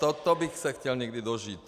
Tohoto bych se chtěl někdy dožít.